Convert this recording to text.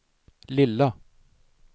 lilla